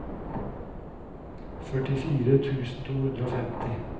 førtifire tusen to hundre og femti